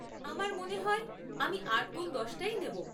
আমার মনে হয় আমি আট গুণ দশ টাই নেব।